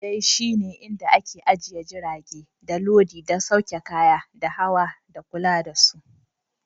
Filin jirgin dai shi ne inda ake ajiye jirage, da lodi, da sauke kaya, da hawa, da kula da su.